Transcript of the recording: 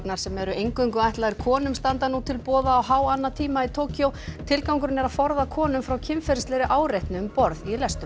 sem eru eingöngu ætlaðir konum standa nú til boða á háannatímum í Tókýó tilgangurinn er að forða konum frá kynferðislegri áreitni um borð í lestum